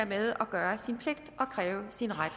med at gøre sin pligt og kræve sin ret